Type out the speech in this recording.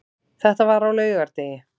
Þetta var á laugardegi.